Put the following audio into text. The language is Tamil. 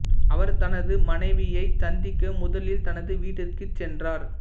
அவர் தனது மனைவியைச் சந்திக்க முதலில் தனது வீட்டிற்குச் சென்றார்